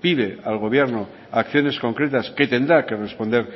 pide al gobierno acciones concretas que tendrá que responder